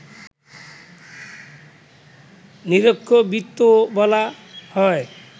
নিরক্ষবৃত্তও বলা হয়